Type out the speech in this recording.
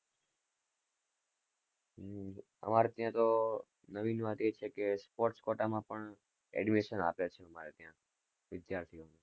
અમારે ત્યાં તો નવીન વાત એ છે કે sports quota માં પણ admission આપે છે, અમારે ત્યાં વિદ્યાર્થીઓને